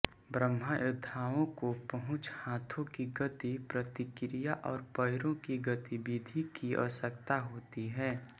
बाह्ययोद्धाओं को पहुंच हाथों की गति प्रतिक्रिया और पैरों की गतिविधि की आवश्यकता होती है